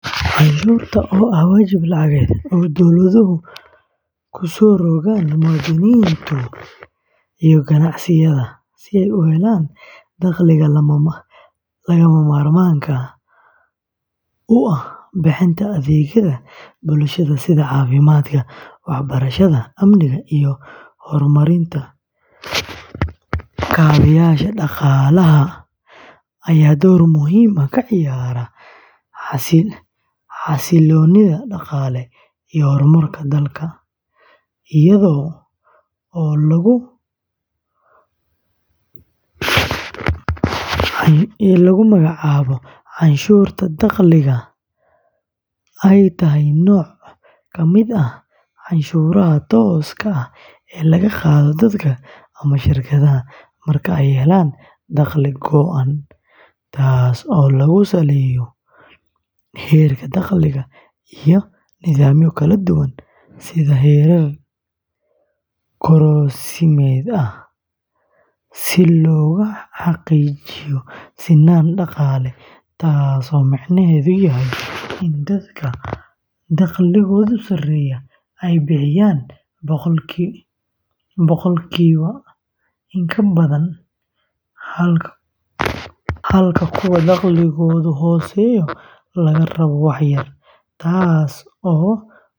Canshuurta, oo ah waajib lacageed oo ay dowladuhu ku soo rogaan muwaadiniinta iyo ganacsiyada, si ay u helaan dakhliga lagama maarmaanka u ah bixinta adeegyada bulshada sida caafimaadka, waxbarashada, amniga, iyo horumarinta kaabeyaasha dhaqaalaha, ayaa door muhiim ah ka ciyaarta xasiloonida dhaqaale iyo horumarka dalka, iyadoo oo lagu magacaabo canshuurta dakhliga, ay tahay nooc ka mid ah canshuuraha tooska ah ee laga qaado dadka ama shirkadaha marka ay helaan dakhli go'an, taas oo lagu saleeyo heerka dakhliga iyo nidaamyo kala duwan sida heerar korodhsiimeed ah si loogu xaqiijiyo sinaan dhaqaale, taasoo micnaheedu yahay in dadka dakhligoodu sareeyo ay bixiyaan boqolkiiba badan, halka kuwa dakhligoodu hooseeyo laga rabo wax yar, taas oo ujeedkeedu.